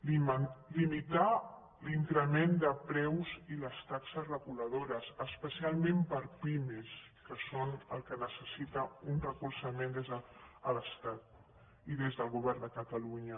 limitar l’increment de preus i les taxes reguladores especialment per a pimes que són el que necessita un recolzament des de l’estat i des del govern de catalu·nya